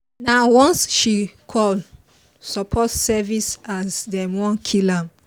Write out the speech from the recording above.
nah once she call support service as them wan kill am